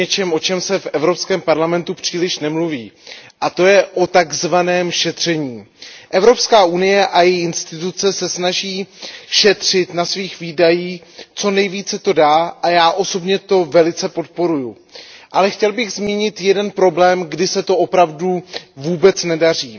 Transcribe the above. Já bych chtěl mluvit o něčem, o čem se v Evropském parlamentu příliš nemluví, a to je o tzv. šetření. Evropská unie a její instituce se snaží šetřit na svých výdajích co nejvíce to dá a já osobně to velice podporuji, ale chtěl bych zmínit jeden problém, kdy se to opravdu vůbec nedaří.